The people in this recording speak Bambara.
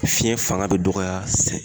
Fiɲɛ fanga be dɔgɔya sɛ